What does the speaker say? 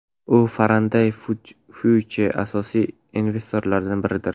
U Faraday Future’ning asosiy investorlaridan biridir.